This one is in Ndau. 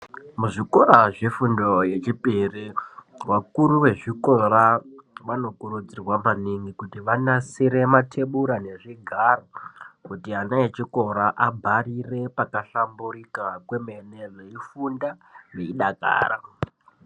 Muzvikora zvefundo yechipiri ,vakuru vezvikora vanokurudzirwa maningi kuti vanasire matebura nezvigaro kuti ana echikora abharire pakahlamburuika kwemene veyi funda veyi dakara.